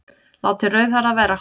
Látið rauðhærða vera